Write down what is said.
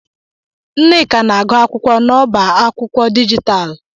Nneka na-agu akwụkwọ n'ọbá akwụkwọ digitalú.